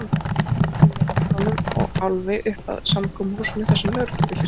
Emil gekk nú með löggunum og Álfi uppað samkomuhúsinu þarsem lögreglubíllinn stóð.